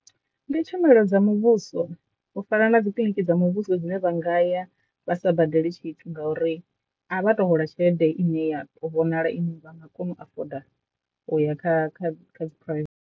Ndi tshumelo dza muvhuso u fana na dzikiḽiniki dza muvhuso dzine vha nga ya vha sa badeli tshithu ngauri a vha to hola tshelede ine ya to vhonala ine vha nga kona u afoda uya kha kha kha dzi private.